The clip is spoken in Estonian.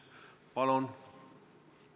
Palun!